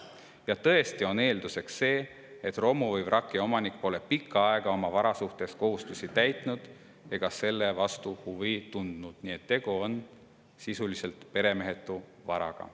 Ja tõesti on eelduseks see, et romu või vraki omanik pole pikka aega oma vara suhtes kohustusi täitnud ega selle vastu huvi tundnud, nii et tegu on sisuliselt peremehetu varaga.